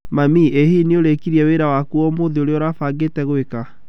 Mami, ĩ hihi nĩ ũrĩĩkĩtie wĩra waku wa ũmũthĩ ũrĩa ũrabangĩtĩ gweka?